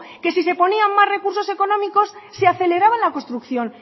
que si se ponía más recursos económicos se aceleraba la construcción